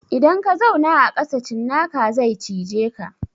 Idan ka zauna a ƙasa cinnaka zai cije ka.